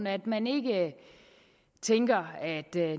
at man ikke tænker at det